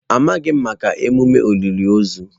Amaghị m maka emume olili ozu.